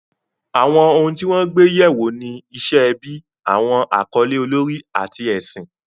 Àwọn ohun tí wọ́n gbé yẹ̀ wò ni iṣẹ́ ẹbí, àwọn àkọlé olórí, àti ẹ̀sìn.